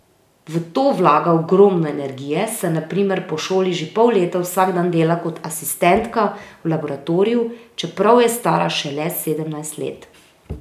V to vlaga ogromno energije, saj na primer po šoli že pol leta vsak dan dela kot asistentka v laboratoriju, čeprav je stara šele sedemnajst let.